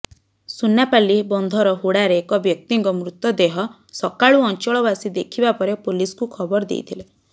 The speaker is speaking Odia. ସୁନାପାଲି ବନ୍ଧର ହୁଡ଼ାରେ ଏକ ବ୍ୟକ୍ତିଙ୍କ ମୃତଦେହ ସକାଳୁ ଅଞ୍ଚଳବାସୀ ଦେଖିବା ପରେ ପୁଲିସକୁ ଖବର ଦେଇଥିଲେ